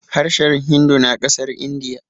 harshen hindu na kasar indiya